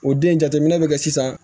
O den jateminɛ bɛ kɛ sisan